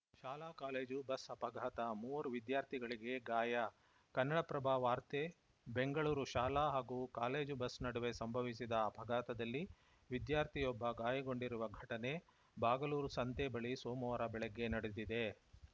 ಶಾಲಾ college bus ಅಪಘಾತ ಮೂವರು ವಿದ್ಯಾರ್ಥಿಗಳಿಗೆ ಗಾಯ ಕನ್ನಡಪ್ರಭ ವಾರ್ತೆ ಬೆಂಗಳೂರು ಶಾಲಾ ಹಾಗೂ ಕಾಲೇಜು ಬಸ್‌ ನಡುವೆ ಸಂಭವಿಸಿದ ಅಪಘಾತದಲ್ಲಿ ವಿದ್ಯಾರ್ಥಿಯೊಬ್ಬ ಗಾಯಗೊಂಡಿರುವ ಘಟನೆ ಬಾಗಲೂರು ಸಂತೆ ಬಳಿ ಸೋಮವಾರ ಬೆಳಗ್ಗೆ ನಡೆದಿದೆ